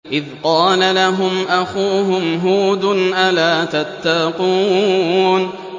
إِذْ قَالَ لَهُمْ أَخُوهُمْ هُودٌ أَلَا تَتَّقُونَ